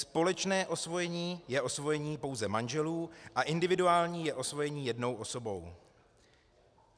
Společné osvojení je osvojení pouze manželů a individuální je osvojení jednou osobou.